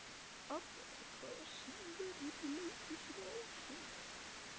Adda, hvaða sýningar eru í leikhúsinu á sunnudaginn?